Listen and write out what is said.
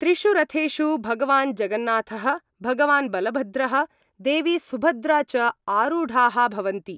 त्रिषु रथेषु भगवान् जगन्नाथ:, भगवान् बलभद्रः, देवी सुभद्रा च आरूढ़ा: भवन्ति।